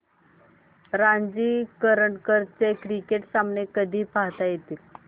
रणजी करंडक चे क्रिकेट सामने कधी पाहता येतील